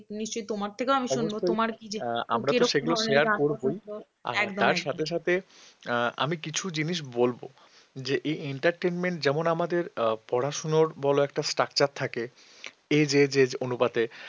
আমি কিছু জিনিস বলবো যে এই entertainment যেমন আমাদের পড়াশোনার বল একটা structure থাকে age age age অনুপাতে